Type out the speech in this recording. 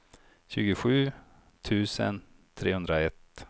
tjugosju tusen trehundraett